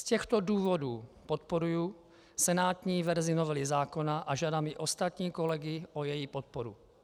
Z těchto důvodů podporuji senátní verzi novely zákona a žádám i ostatní kolegy o její podporu.